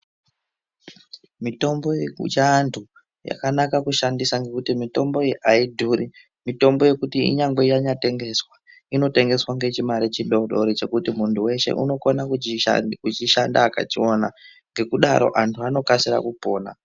Mitombo yekuchiantu yakanaka kushandisa ngokuti mitombo iyi aidhuri. Mitombo yekuti kunyangwe yambotengeswa, inotengeswa ngechimare chidodori chekuti muntu weshe unokone kuchishanda akachiwana, ngekudaro antu anokasa kupona.